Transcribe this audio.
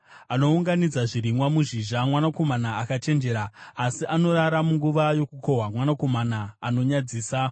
Anounganidza zvirimwa muzhizha, mwanakomana akachenjera, asi anorara munguva yokukohwa, mwanakomana anonyadzisa.